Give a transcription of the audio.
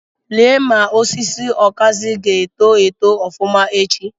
Lee ma osisi okazi ga-eto eto ofuma echi.